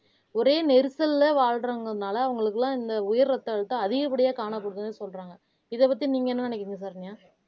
ஒரே நெரிசல்ல வாழ்றவங்கனால அவங்களுக்கு எல்லாம் இந்த உயர் ரத்த அழுத்தம் அதிகப்படியா காணப்படுது சொல்றாங்க இதை பத்தி நீங்க என்ன நினைக்கிறீங்க சரண்யா